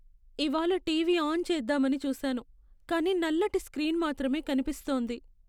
ఇవాళ్ళ TV on చేద్దామని చూసాను, కానీ నల్లటి స్క్రీన్ మాత్రమే కనిపిస్తోంది.